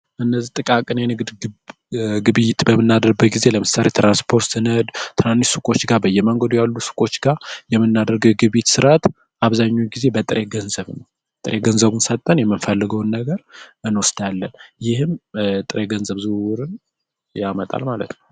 ነው ጥቃቅን የንግድ ግብይት እና ጊዜ ለምሳሌ የምናደርገት ስራት አብዛኛው ጊዜ ገንዘብ ገንዘቡን ሰጠን የምንፈልገውን ነገር እንወጣለን ይህም ያመጣል ማለት ነው